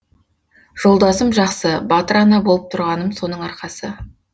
жолдасым жақсы батыр ана болып тұрғаным соның арқасы